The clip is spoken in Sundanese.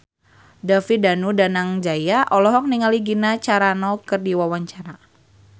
David Danu Danangjaya olohok ningali Gina Carano keur diwawancara